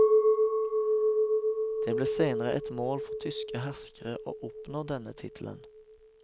Det ble senere et mål for tyske herskere å oppnå denne tittelen.